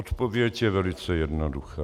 Odpověď je velice jednoduchá.